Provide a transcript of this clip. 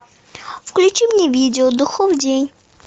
включи мне видео духов день